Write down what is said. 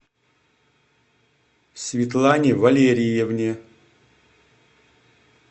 светлане валериевне